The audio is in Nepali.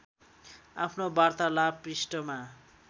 आफ्नो वार्तालाभ पृष्ठमा